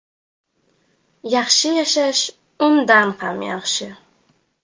Yaxshi yashash undan ham yaxshi.